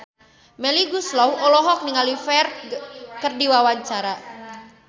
Melly Goeslaw olohok ningali Ferdge keur diwawancara